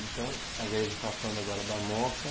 Então, a gente estava falando agora da moca.